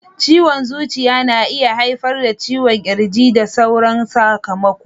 Ciwon zuciya na iya haifar da ciwon kirji da sauran sakamako.